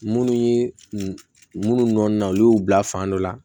Munnu ye munnu nɔ na olu y'u bila fan dɔ la